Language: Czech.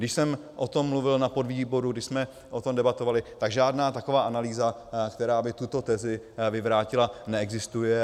Když jsem o tom mluvil na podvýboru, když jsme o tom debatovali, tak žádná taková analýza, která by tuto tezi vyvrátila, neexistuje.